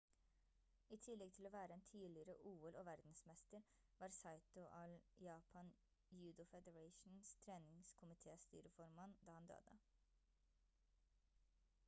i tillegg til å være en tidligere ol-og verdensmester var saito all japan judo federations treningskomitestyreformann da han døde